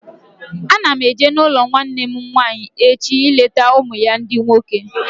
Ana m eje n'ụlọ nwanne m nwaanyị echi ileta ụmụ ya ndị nwoke